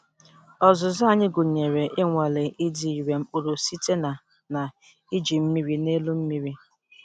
Ọzụzụ anyị gụnyere ịnwale ịdị irè mkpụrụ site na na iji mmiri n'elu mmiri.